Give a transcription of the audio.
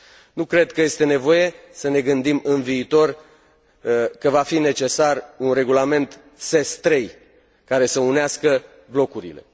Nu cred că este nevoie să ne gândim, în viitor, că va fi necesar un regulament SES III, care să unească blocurile.